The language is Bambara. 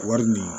Wari nin